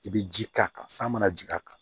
I bɛ ji k'a kan san mana jigin a kan